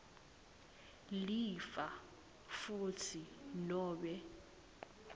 lifa futsi nobe